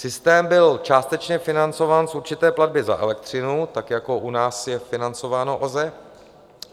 Systém byl částečně financován z určité platby za elektřinu, tak jako u nás je financováno OZE.